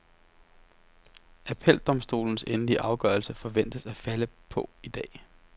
Appeldomstolens endelige afgørelse forventes at falde på i dag.